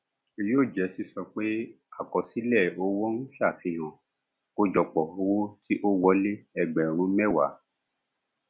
yóò jẹ sísọ pé àkọsílẹ owó ń ṣàfihàn àkójọpọ owo ti o wole ẹgbẹrún mẹwàá